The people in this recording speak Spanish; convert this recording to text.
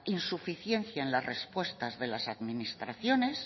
insuficiencias en las respuestas de las administraciones